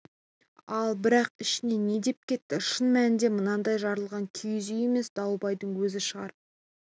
ал бірақ ішінен не деп кетті шын мәнінде маңдайы жарылған киіз үй емес дауылбайдың өзі шығар